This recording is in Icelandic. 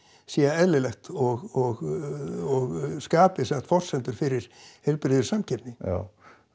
sé eðlilegt og skapi forsendur fyrir heilbrigðri samkeppni já